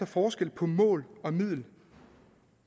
forskel på mål og middel